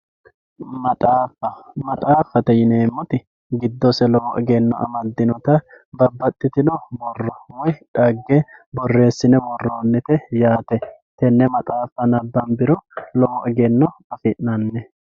Maxxaafa, maxxafate yineemotti gidosse lowo egeno amadinotta babaxitinno borro woyi xagge boorreesinne woronitte yaate, tene maxxaffa nabbambiro lowo eggeno affi'nanni